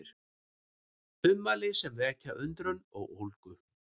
Ummæli sem vekja undrun og ólgu